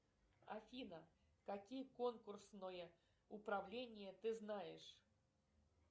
афина какие конкурсное управление ты знаешь